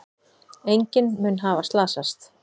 Enginn mun hafa slasast.